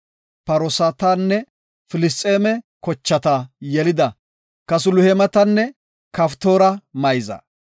Patroosatanne Filisxeeme kochaa yelida Kasluheematanne Qaftooreta mayza.